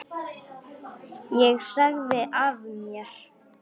Ég sagði af mér.